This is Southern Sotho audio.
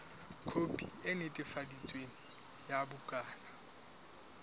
khopi e netefaditsweng ya bukana